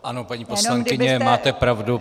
Ano, paní poslankyně, máte pravdu.